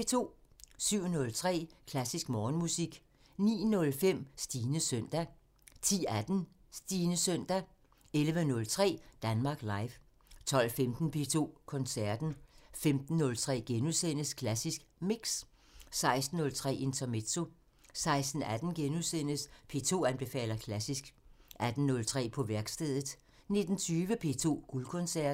07:03: Klassisk Morgenmusik 09:05: Stines søndag 10:18: Stines søndag 11:03: Danmark Live 12:15: P2 Koncerten 15:03: Klassisk Mix * 16:03: Intermezzo 16:18: P2 anbefaler klassisk * 18:03: På værkstedet 19:20: P2 Guldkoncerten